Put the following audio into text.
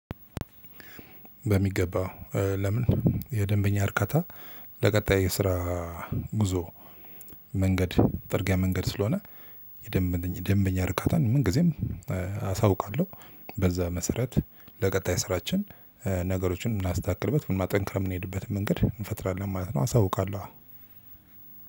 በሚገባው ለምን? የደንበኛ እርካታ ለቀጣይ የስራ ጉዞ መንገድ ጠርጊያ መንገድ ስለሆነ የደንበኛ ርካታን ምን ጊዜም አሳውቃለሁ። በዛ መሰረት ለቀጣይ ስራችን ነገሮችን እናስተካክልበት ምን ማጠንከር የምንሄድበት መንገድ እንፈጥራለን ማለት ነው። አሳውቃለሁ